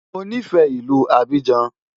Mo nífẹ̀ẹ́ ìlú Abidjan.